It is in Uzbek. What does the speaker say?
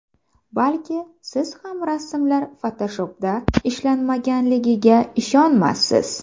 Balki, siz ham rasmlar Photoshop’da ishlanmaganligiga ishonmassiz.